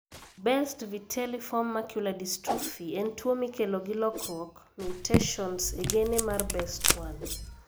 Best vitelliform macular dystrophy (BVMD) en tuwo mikelo gi lokruok (mutations) e gene mar BEST1.